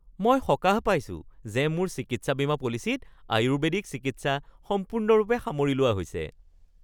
মই সকাহ পাইছোঁ যে মোৰ চিকিৎসা বীমা পলিচীত আয়ুৰ্বেদিক চিকিৎসা সম্পূৰ্ণৰূপে সামৰি লোৱা হৈছে